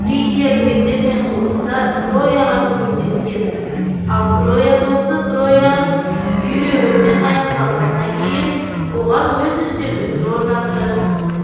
фригия гректермен соғыста трояға көмектескен ал троя соғысы трояң күйреуімен аяқталғаннан кейін оған өз үстемдігін орнатты